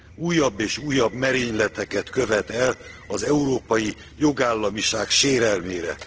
újabb és újabb merényleteket követ el az európai jogállamiság sérelmére.